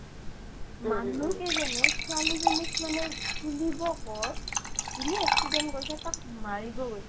মানুহ কেইজনে ছোৱালিজনীক মানে তুলিব ক'ত জোনি accident কৰিছে তাক মাৰিব গৈছে